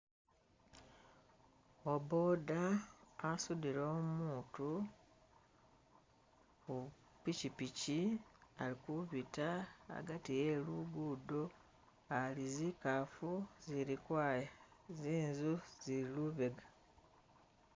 Uwa boda asudile umutu ku pishipishi alikubita agati e lugudo ali zikafu zili kwaya, zinzu zili lubega.